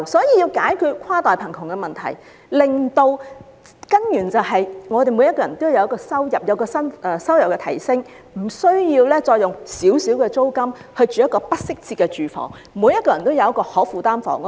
要解決跨代貧窮的問題，根本辦法是讓所有人的收入均有所提升，無需再用丁點租金租住不適切的住房，令所有人均有可負擔的房屋。